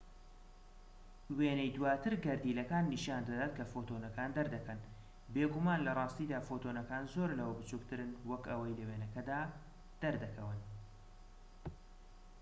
وێنەی دواتر گەردیلەکان نیشان دەدات کە فۆتۆنەکان دەردەکەن بێگومان لە ڕاستیدا فۆتۆنەکان زۆر لەوە بچووکترن وەک ئەوەی لە وێنەکەدا دەردەکەون